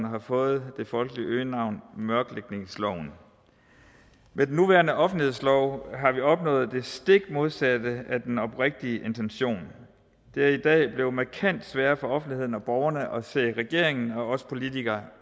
har fået det folkelige øgenavn mørklægningsloven med den nuværende offentlighedslov har vi opnået det stik modsatte af den oprindelige intention det er i dag blevet markant sværere for offentligheden og borgerne at se regeringen og os politikere